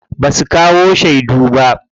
Basu kawo shedu ba.